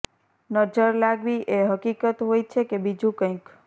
નજર લાગવી એ હકીકત હોય છે કે બીજું કંઇક